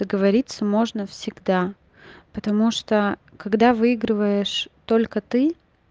договориться можно всегда потому что когда выигрываешь только ты